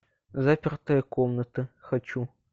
запертая комната хочу